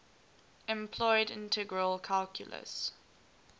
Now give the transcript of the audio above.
employed integral calculus